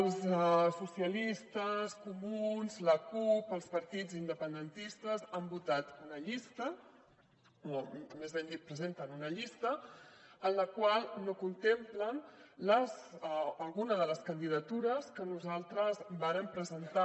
els socialistes comuns la cup els partits independentistes han votat una llista o més ben dit presenten una llista en la qual no contemplen alguna de les candidatures que nosaltres vàrem presentar